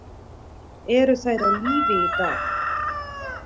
Eru þær á lífi í dag?